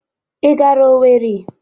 i gara Owerri?